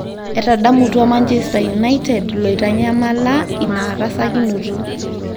Etadamutua Manchester United loitanyamala ina rasakinoto.